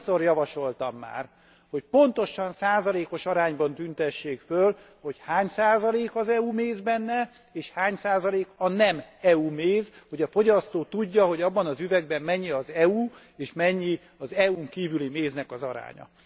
Annyiszor javasoltam már, hogy pontosan, százalékos arányban tüntessék föl, hogy hány százalék az EU méz benne és hány százalék a nem EU méz, hogy a fogyasztó tudja, hogy abban az üvegben mennyi az EU és mennyi az EU n kívüli méznek az aránya.